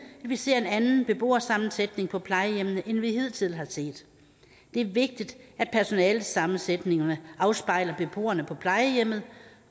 vi ser en anden beboersammensætning på plejehjemmene end vi hidtil har set det er vigtigt at personalesammensætningerne afspejler beboerne på plejehjemmene